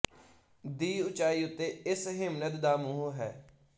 ਦੀ ਉਚਾਈ ਉੱਤੇ ਇਸ ਹਿਮਨਦ ਦਾ ਮੂੰਹ ਹੈ